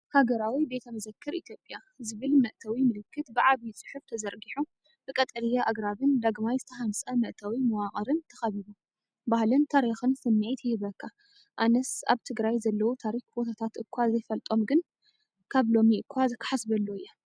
“ሃገራዊ ቤተ መዘክር ኢትዮጵያ” ዝብል መእተዊ ምልክት ብዓቢ ጽሑፍ ተዘርጊሑ ብቀጠልያ ኣግራብን ዳግማይ ዝተሃንጸ መእተዊ መዋቕርን ተኸቢቡ፡ ባህልን ታሪኽን ስምዒት ይህበካ ኣነስ ኣብ ትግራይ ዘለው ታሪክ ቦታታት እኳ ዘይፈልጦም ግን ካብ ሎሚ እኳ ክሓስበሉ እየ!